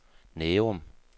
Nærum